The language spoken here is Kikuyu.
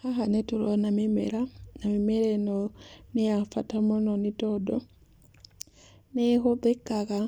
Haha nĩtũrona mĩmera, na mĩmera ĩno nĩ ya bata mũno nĩtondũ nĩĩhũthĩkaga